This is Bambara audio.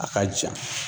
A ka jan